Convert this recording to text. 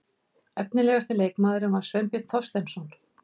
Efnilegasti leikmaðurinn var Sveinbjörn Þorsteinsson.